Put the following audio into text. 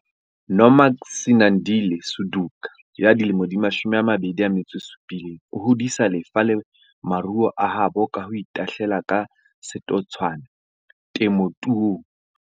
Nomagcinandile Suduka 27 o hodisa lefa le maruo a habo ka ho itahlela ka setotswana temothuong.